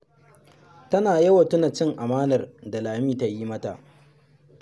Tana yawan tuna cin amanar da Lami ta yi mata